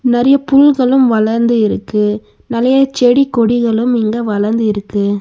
நறைய புல்களும் வளந்து இருக்கு நலய செடி கொடிகளும் இங்க வளந்திருக்கு.